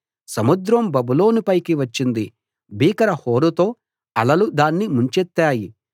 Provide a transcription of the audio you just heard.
సముద్రం బబులోను పైకి వచ్చింది భీకర హోరుతో అలలు దాన్ని ముంచెత్తాయి